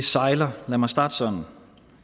sejler lad mig starte sådan